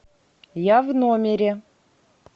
я в номере